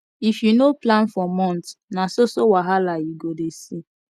if you no plan for month na so so wahala you go dey see